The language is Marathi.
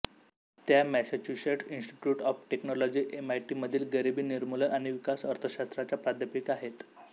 त्या Massachusetts Institute of Technology MIT मधील गरीबी निर्मूलन आणि विकास अर्थशास्त्राच्या प्राध्यापिका आहेत